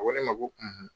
A ko ne ma ko